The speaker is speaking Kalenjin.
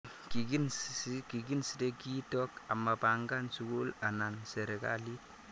Kikinsde kiitok amapang'an sukul ana serikalit